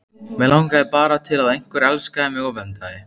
Mig langaði bara til að einhver elskaði mig og verndaði.